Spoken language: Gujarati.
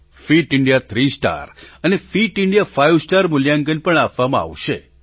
ફિટ ઇન્ડિયા થ્રી સ્ટાર અને ફિટ ઇન્ડિયા ફાઇવ સ્ટાર મૂલ્યાંકન પણ આપવામાં આવશે